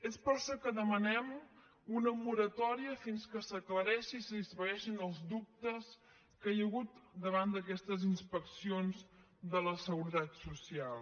és per això que demanem una moratòria fins que s’aclareixi i s’esvaeixin els dubtes que hi ha hagut davant d’aquestes inspeccions de la seguretat social